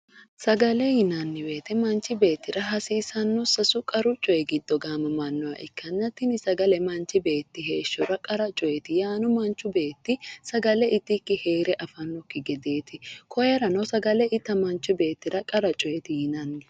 Sagale yinanni woyte manchi beettira hasiisanno sasu qaru coyi giddo gaamamannoha ikkanna tini sagale manchi beettira heeshshora qara coyeeti yaano manchu beetti sagale itikki heere afannokki gedeeti koyerano sagale ita manchi beettira qara coyeeti yinanni